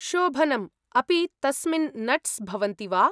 शोभनम्, अपि तस्मिन् नट्स् भवन्ति वा?